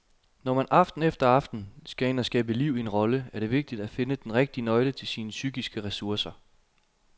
Når man aften efter aften skal ind at skabe liv i en rolle, er det vigtigt at finde den rigtige nøgle til sine psykiske ressourcer.